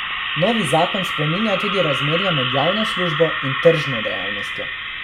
Novi zakon spreminja tudi razmerje med javno službo in tržno dejavnostjo.